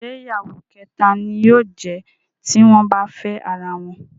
Ṣé ìyàwó kẹ̀ta ni yóò jẹ̀ ẹ́ tí wọ́n bá fẹ́ ara wọn?